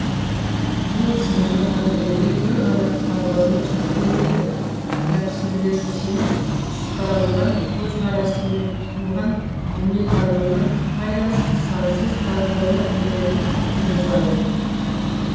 жын сынды әңгімелер бір ғана талдаумен шектелмейді тәпсірлеушісінің ұстанған көзқарасы мен тұтынған дүниетанымына байланысты сансыз талдаулар легін туғызады